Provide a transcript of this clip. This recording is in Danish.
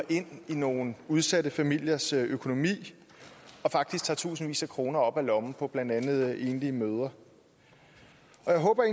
ind i nogle udsatte familiers økonomi og faktisk tager tusindvis af kroner op af lommen på blandt andet enlige mødre jeg håber